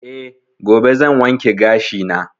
Eh, gobe zan wanke gashi na.